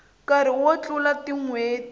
nkarhi wo tlula tin hweti